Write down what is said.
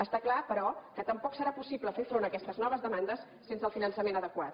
està clar però que tampoc serà possible fer front a aques tes noves demandes sense el finançament adequat